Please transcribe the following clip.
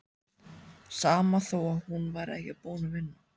Sama þó að hún væri ekki búin að vinna.